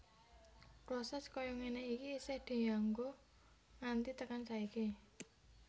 Proses kaya ngene iki isih dianggo nganti tekan saiki